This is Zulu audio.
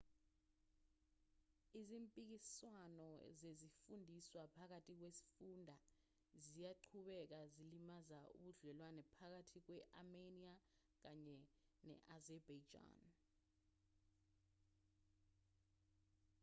izimpikiswano zezifundiswa phakathi kwesifunda ziyaqhubeka zilimaza ubudlelwane phakathi kwe-armenia kanye ne-azerbaijan